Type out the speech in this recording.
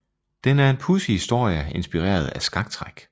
Den er en pudsig historie inspireret af skaktræk